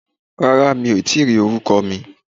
Rárá mi ò tíì rí orúkọ mi